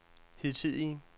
hidtidige